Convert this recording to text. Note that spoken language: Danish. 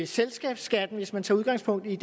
selskabsskatten hvis man tager udgangspunkt i